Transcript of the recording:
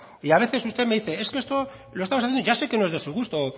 y a veces usted me dice es que esto lo estamos haciendo ya sé que no es de su gusto